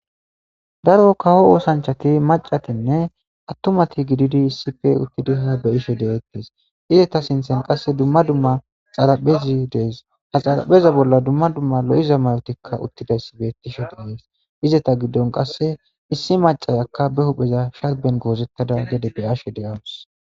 Daro kawo osanchati macatinne atumati gididi issipe utidi ha beyishe detese izeta sinthan qase dumma dumma xaraphezi de'ese ha xarapheza bolla dumms dumma lo'iza mayotikka utidays betishe des izeta gidon qase issi acayakka be hupheza sharben gozetada gede be'ashe de'awusu